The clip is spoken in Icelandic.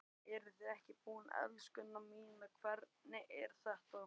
Eruð þið ekki tilbúin, elskurnar, hvernig er þetta?